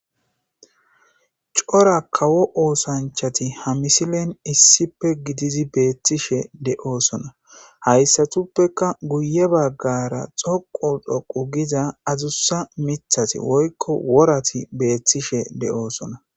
Cora kawo oosanchati ha misilen issipe gidizi beettishe de'oosona hayssatuppeka guye baggara xoqu dhoqu giza azusa mithati woykko worati beethtishe de'oosona